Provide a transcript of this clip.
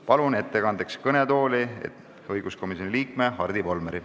Palun ettekandeks kõnetooli õiguskomisjoni liikme Hardi Volmeri.